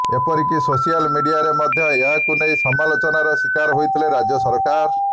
ଏପରିକି ସୋସିଆଲ ମିଡିଆରେ ମଧ୍ୟ ଏହାକୁ ନେଇ ସମାଲୋଚନାର ଶିକାର ହୋଇଥିଲେ ରାଜ୍ୟ ସରକାର